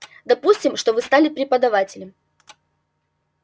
допустим что вы стали преподавателем